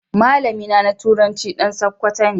Malami na turanci dan sokoto.